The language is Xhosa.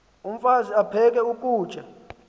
umfaz aphek ukutya